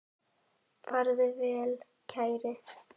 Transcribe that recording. Farðu vel, kæri.